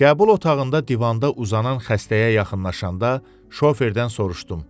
Qəbul otağında divanda uzanan xəstəyə yaxınlaşanda şoferdən soruşdum.